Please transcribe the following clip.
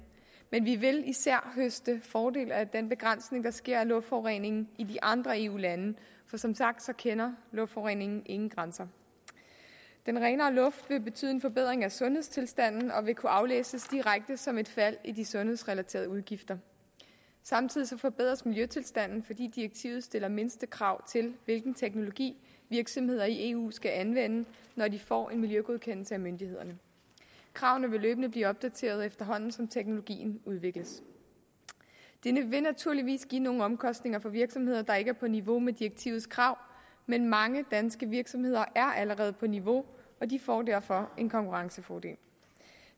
men vi vil især høste fordel af den begrænsning der sker af luftforureningen i de andre eu lande for som sagt kender luftforureningen ingen grænser den renere luft vil betyde en forbedring af sundhedstilstanden og vil kunne aflæses direkte som et fald i de sundhedsrelaterede udgifter samtidig forbedres miljøtilstanden fordi direktivet stiller mindstekrav til hvilken teknologi virksomheder i eu skal anvende når de får en miljøgodkendelse af myndighederne kravene vil løbende blive opdateret efterhånden som teknologien udvikles det vil naturligvis give nogle omkostninger for virksomheder der ikke er på niveau med direktivets krav men mange danske virksomheder er allerede på niveau og de får derfor en konkurrencefordel